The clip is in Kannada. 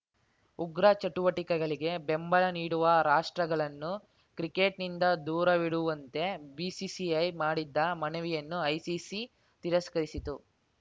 ಉಗ್ರ ಚಟುವಟಿಕೆಗಳಿಗೆ ಬೆಂಬಲ ನೀಡುವ ರಾಷ್ಟ್ರಗಳನ್ನು ಕ್ರಿಕೆಟ್‌ನಿಂದ ದೂರವಿಡುವಂತೆ ಬಿಸಿಸಿಐ ಮಾಡಿದ್ದ ಮನವಿಯನ್ನು ಐಸಿಸಿ ತಿರಸ್ಕರಿಸಿತ್ತು